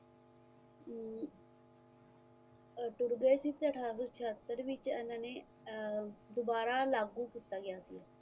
ਤੁਰਬੇ ਵਿੱਚ ਅਠਾਰਾਂ ਸੋ ਛਿੱਅਤਰ ਵਿਚ ਏਨਾ ਨੇ ਦੁਬਾਰਾ ਲਾਗੂ ਕੀਤਾ ਗਿਆ